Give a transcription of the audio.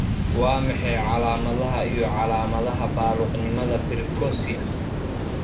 Waa maxay calaamadaha iyo calaamadaha baaluqnimada Precocious?